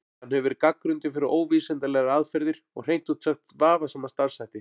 Hann hefur verið gagnrýndur fyrir óvísindalegar aðferðir og hreint út sagt vafasama starfshætti.